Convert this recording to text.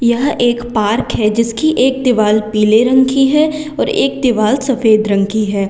यह एक पार्क है जिसकी एक दीवार पीले रंग की है और एक दीवार सफेद रंग की है।